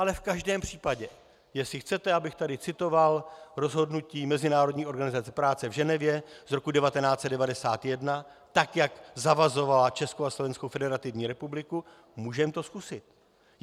Ale v každém případě, jestli chcete, abych tady citoval rozhodnutí Mezinárodní organizace práce v Ženevě z roku 1991, tak jak zavazovala Českou a Slovenskou Federativní Republiku, můžeme to zkusit.